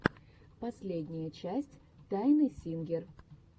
последняя часть тайаны сингер